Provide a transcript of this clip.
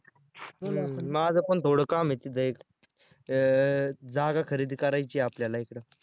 माझंपण थोडं काम आहे तिथं एक अं जागा खरेदी करायची आहे आपल्याला एक